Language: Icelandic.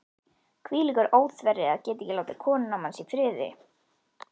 Hvílíkur óþverri, að geta ekki látið konuna manns í friði.